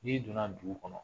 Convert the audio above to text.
N'i donna dugu kɔnɔ